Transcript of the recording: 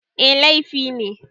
Eh, laifi ne